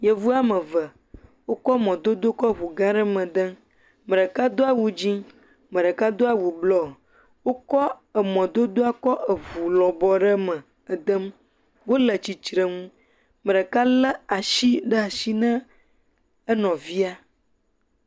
Yevuwo ame eve wo kɔ mɔdodo kɔ ʋugã aɖe me dem ame ɖeka do awu dzĩ ame ɖeka do awu blɔ wokɔ mɔdodoa le ʋu lɔbɔ aɖe me dem wole titrenu ame ɖeka le asi na nɔvia